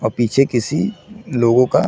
और पीछे किसी लोगो का--